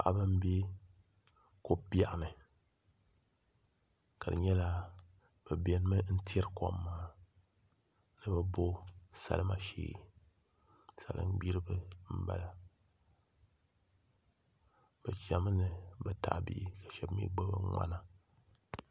Paɣaba n bɛ ko biɛɣu ni ka di nyɛla bi biɛni mi n tiɛri kom maa ni bi bo salima shee salin gbiribi n bala bi ʒɛmi ni bi tahabihi ka shab mii gbubi ŋmana